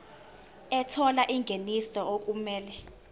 ethola ingeniso okumele